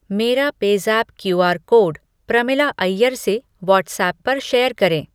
मेरा PayZapp QR code Pramila Iyer से WhatsApp पर शेयर करें।